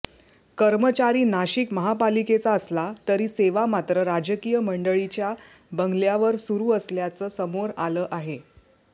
कर्मचारी नाशिक महापालिकेचा असला तरी सेवा मात्र राजकीय मंडळींच्या बंगल्यावर सुरु असल्याचं समोर आलं आहे